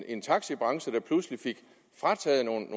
en taxibranche der pludselig fik frataget nogle